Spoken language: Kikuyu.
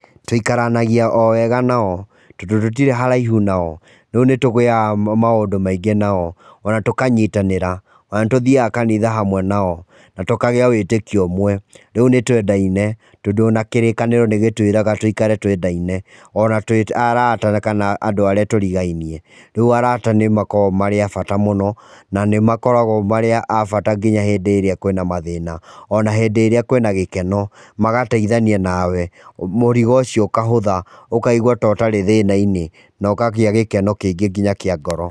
Tũikaranagia o wega nao tondũ tũtirĩ haraihu nao, rĩu nĩ tũgĩaga maũndũ maingĩ nao ona tũkanyitanĩra, ona nĩtũthiaga kanitha hamwe nao na tũkagĩa wĩtĩkio ũmwe rĩu nĩ twendaine tondũ ona kĩrĩkanĩro nĩgĩtwiraga tũikare twendaine ona twĩ arata kana andũ arĩa tũrigainie. Rĩu arata nĩ makoragwo marĩ a bata mũno na nĩmakoragwo marĩ a bata nginya hĩndĩ ĩria kwina mathĩna ona hĩndĩ ĩrĩa kwĩna gĩkeno magateithania nawe mũrigo ũcio ũkahũtha, ũkaigua ta ũtarĩ thĩnainĩ na ũkagĩa gĩkeno kĩingĩ nginya kĩa ngoro.